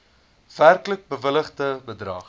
werklik bewilligde bedrag